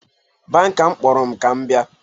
Banka m kpọrọ m ka m bịa